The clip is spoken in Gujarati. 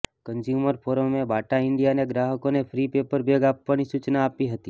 કન્ઝ્યુમર ફોરમે બાટા ઈન્ડિયાને ગ્રાહકોને ફ્રી પેપર બેગ આપવાની સૂચના આપી હતી